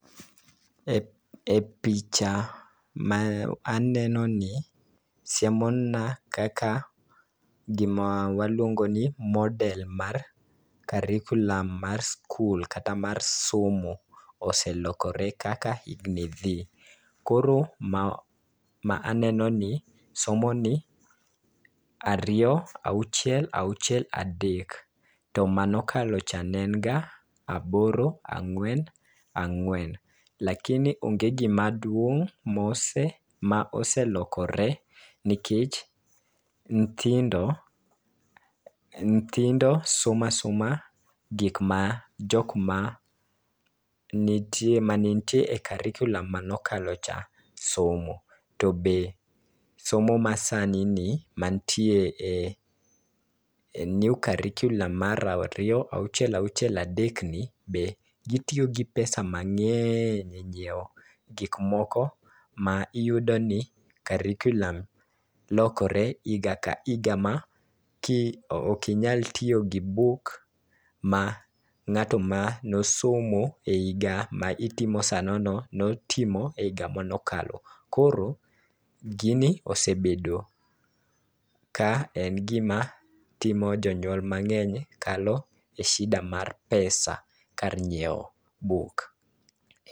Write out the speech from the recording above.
E picha ma aneno ni, siemo na kaka gima waluongo ni model mar curriculum mar skul kata mar somo oselokore kaka higni dhi. Koro ma aneno ni somo ni ariyo-auchiel-auchiel-adek. To manokalo cha ne en ga aboro- ang'wen-ang'wen. Lakini onge gimaduong' ma oselokore nikech nyithindo, nyithindo somasoma gik ma jok mane nitie e curriculum mane okalo cha somo. To be somo masani ni, mantie e new curriculum mar ariyo-auchiel-auchiel-adek gitiyo gi pesa mang'eny e nyiewo gik moko. Ma iyudo ni curriculum lokore higa ka higa ma ki, okinyal tiyo gi buk ma ng'ato ma ne osomo e higa ma itimo sanono notimo e higa mane okalo. Koro gini osebedo ka en gima timo jonyuol mang'eny kalo e shida mar pesa kar nyiewo buk.